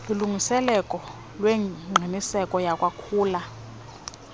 kulungiseleko lwengqiniseko yakwakhula